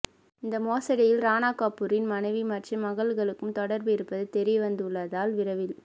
இந்த மோசடியில் ராணா கபூரின் மனைவி மற்றும் மகள்களுக்கும் தொடர்பு இருப்பது தெரியவந்துள்ளதால் விரைவில்